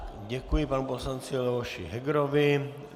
Děkuji panu poslanci Leoši Hegerovi.